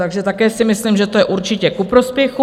Takže také si myslím, že to je určitě ku prospěchu.